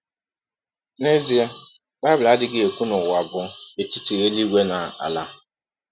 N’ezie, Bible adịghị ekwụ na ụwa bụ etiti elụigwe na ala.